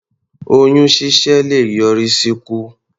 Oyún ṣíṣẹ́ le yọrí sí ikú.